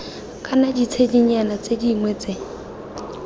kana ditshedinyana tse dingwe tse